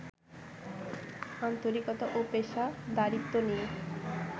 আন্তরিকতা ও পেশাদারিত্ব নিয়ে